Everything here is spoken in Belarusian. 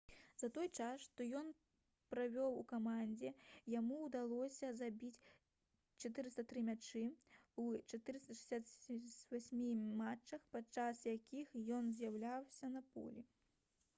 за той час што ён правёў у камандзе яму ўдалося забіць 403 мячы ў 468 матчах падчас якіх ён з'яўляўся на полі